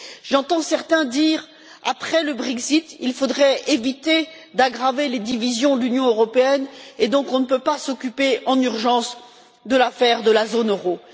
J'entends certains dire qu'après le Brexit, il faudrait éviter d'aggraver les divisions de l'Union européenne et qu'on ne peut donc pas s'occuper en urgence de l'affaire de la zone euro.